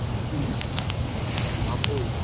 ସବୁ।